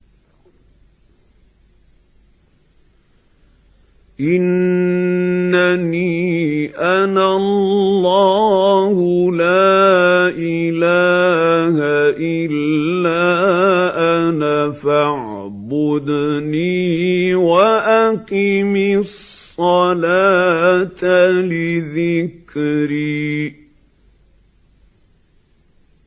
إِنَّنِي أَنَا اللَّهُ لَا إِلَٰهَ إِلَّا أَنَا فَاعْبُدْنِي وَأَقِمِ الصَّلَاةَ لِذِكْرِي